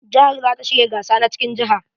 Jihar za ta shirya gasa na cikin jiha.